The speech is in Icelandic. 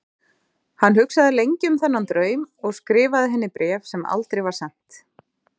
Hann hugsaði lengi um þennan draum og skrifaði henni bréf, sem aldrei var sent.